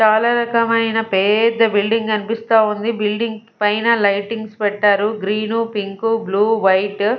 చాలా రకమైన పెద్ద బిల్డింగ్ కనిపిస్తా ఉంది బిల్డింగ్ పైన లైటింగ్స్ పెట్టారు గ్రీన్ పింక్ బ్లూ వైట్ .